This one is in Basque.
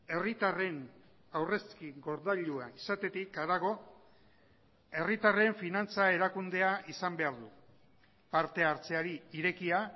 herritarren aurrezki gordailua izatetik harago herritarren finantza erakundea izan behar du parte hartzeari irekia